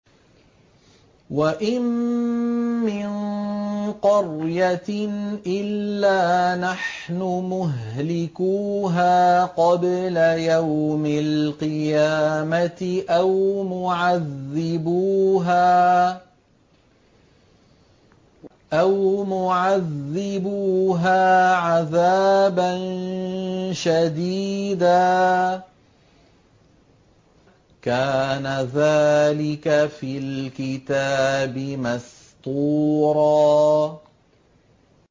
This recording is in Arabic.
وَإِن مِّن قَرْيَةٍ إِلَّا نَحْنُ مُهْلِكُوهَا قَبْلَ يَوْمِ الْقِيَامَةِ أَوْ مُعَذِّبُوهَا عَذَابًا شَدِيدًا ۚ كَانَ ذَٰلِكَ فِي الْكِتَابِ مَسْطُورًا